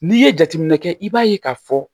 N'i ye jateminɛ kɛ i b'a ye k'a fɔ